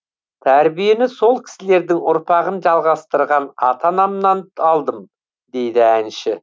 тәрбиені сол кісілердің ұрпағын жалғастырған ата анамен алдым дейді әнші